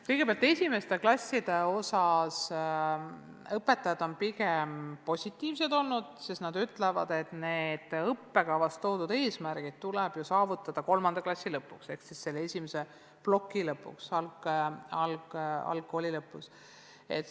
Kõigepealt, esimeste klasside suhtes on õpetajad olnud pigem positiivsed, sest nad ütlevad, et õppekavas toodud eesmärgid tuleb saavutada kolmanda klassi lõpuks ehk selle esimese ploki lõpuks, algkooli lõpuks.